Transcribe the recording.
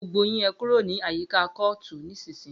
Gbogbo yín ẹkúrò ni àyíkà kòótú nisisiyi!